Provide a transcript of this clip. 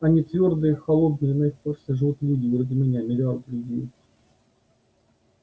они твёрдые холодные и на их поверхности живут люди вроде меня миллиарды людей